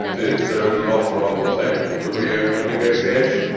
The fact is, there is an offer on the table to re-open negotiations.